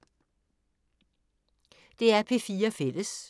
DR P4 Fælles